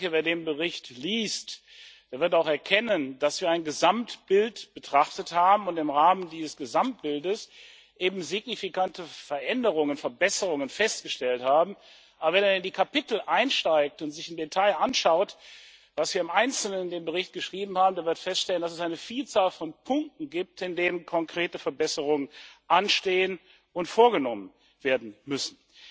Wer den Bericht liest, der wird auch erkennen, dass wir ein Gesamtbild betrachtet haben und im Rahmen dieses Gesamtbildes eben signifikante Veränderungen, Verbesserungen festgestellt haben. Wer aber in die Kapitel einsteigt und sich im Detail anschaut, was wir im Einzelnen in den Bericht geschrieben haben, der wird feststellen, dass es eine Vielzahl von Punkten gibt, in denen konkrete Verbesserungen anstehen und vorgenommen werden müssen.